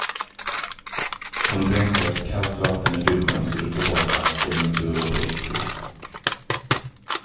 Hon tänkte att kallt vatten i duschen skulle ta bort allt om det inte vore på riktigt.